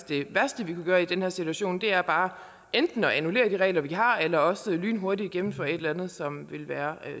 det værste vi kan gøre i den her situation er bare enten at annullere de regler vi har eller også lynhurtigt at gennemføre et eller andet som vil være